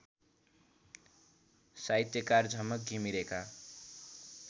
साहित्यकार झमक घिमिरेका